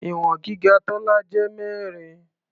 Ìwọ̀n gíga Tọ́lá jẹ́ mẹ́rin.